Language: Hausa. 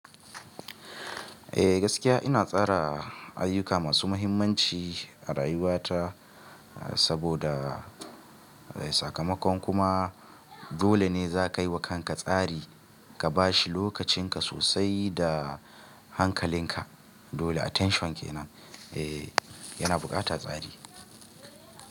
Eh gaskiya ina tsara ayyuka masu mahimmanci a rayuwa ta saboda sakamakon kuma dole ne za ka yi wa kanka tsari ka ba shi lokacin ka sosai da hankalin ka. Dole attention ke nan. Eh yana buƙata tsari.